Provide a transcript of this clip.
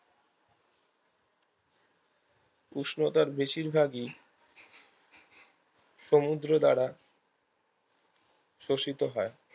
উষ্ণতার বেশিরভাগই সমুদ্র দ্বারা শোষিত হয়